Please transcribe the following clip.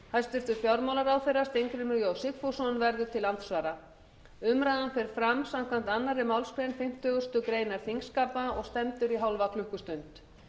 hæstvirtur fjármálaráðherra steingrímur j sigfússon verður til andsvara umræðan fer fram samkvæmt annarri málsgrein fimmtugustu grein þingskapa og stendur í hálfa klukkustund